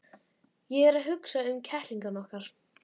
Ég er að hugsa um kettlingana okkar.